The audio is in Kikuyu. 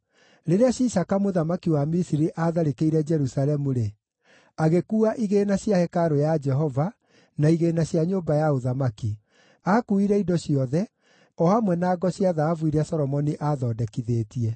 Rĩrĩa Shishaka mũthamaki wa Misiri aatharĩkĩire Jerusalemu-rĩ, agĩkuua igĩĩna cia hekarũ ya Jehova na igĩĩna cia nyũmba ya ũthamaki. Aakuuire indo ciothe, o hamwe na ngo cia thahabu iria Solomoni aathondekithĩtie.